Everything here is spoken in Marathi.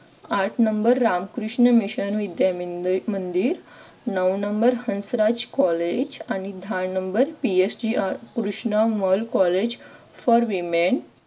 आठ नंबर रामकृष्ण मिशन विद्या मंदिर नऊ number हंसराज कॉलेज आणि दहा numberPSALM Krishnarao college for women